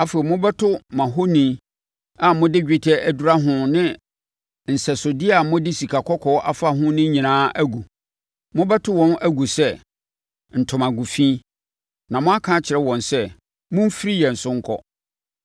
Afei, mobɛto mo ahoni a mode dwetɛ adura ho ne nsɛsodeɛ a mode sikakɔkɔɔ afa ho no nyinaa agu. Mobɛto wɔn agu sɛ ntomago fi, na mo aka akyerɛ wɔn sɛ, “Momfiri yɛn so nkɔ.”